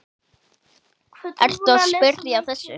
Ertu að spyrja að þessu?